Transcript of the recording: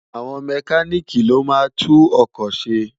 Awòn Mèkánìkí ló má ntú mótó sé